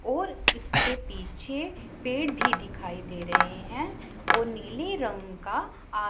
और इसके पीछे पेड़ भी दिखाई दे रहे हैं और नीले रंग का आ--